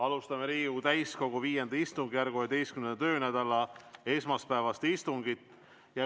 Alustame Riigikogu täiskogu V istungjärgu 11. töönädala esmaspäevast istungit.